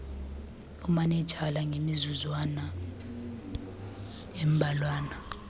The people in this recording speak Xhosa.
umanenjala ngemizuzwana embalwana